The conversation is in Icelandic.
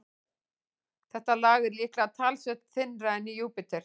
Þetta lag er líklega talsvert þynnra en í Júpíter.